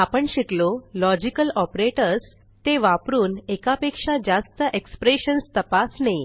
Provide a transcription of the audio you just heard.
आपण शिकलो logical operators ते वापरून एका पेक्षा जास्त एक्सप्रेशन्स तपासणे